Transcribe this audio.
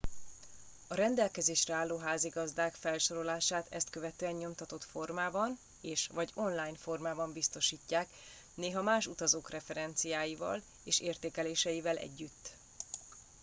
a rendelkezésre álló házigazdák felsorolását ezt követően nyomtatott formában és/vagy online formában biztosítják néha más utazók referenciáival és értékeléseivel együtt